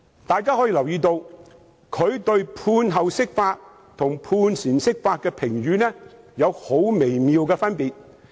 大家留意，他對判後釋法和判前釋法的評語有很微妙的分別。